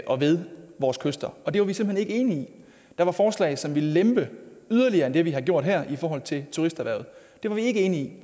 og ved vores kyster og det var vi simpelt hen ikke enige i der var forslag som ville lempe yderligere end det vi har gjort her i forhold til turisterhvervet det var vi ikke enige i